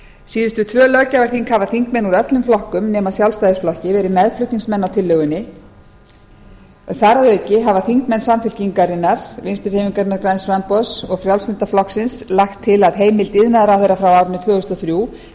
síðustu tvö löggjafarþing hafa þingmenn úr öllum flokkum nema sjálfstæðisflokki verið meðflutningsmenn á tillögunni þar að auki hafa þingmenn samfylkingarinnar vinstri hreyfingarinnar græns framboðs og frjálslynda flokksins lagt til að heimild iðnaðarráðherra frá árinu tvö þúsund og þrjú til að